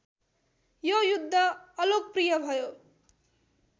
यो युद्ध अलोकप्रिय भयो